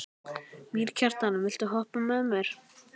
Mýrkjartan, viltu hoppa með mér?